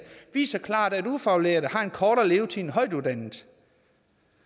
viser klart at ufaglærte har en kortere levetid end højtuddannede